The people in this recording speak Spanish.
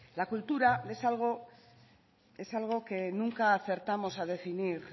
la cultura es algo que nunca acertamos a definir